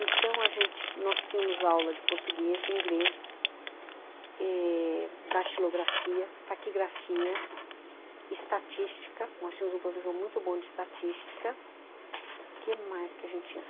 Então, a gente, nós tínhamos aula de português, inglês eh datilografia, taquigrafia, estatística, nós tínhamos um professor muito bom de estatística, que mais que a gente tinha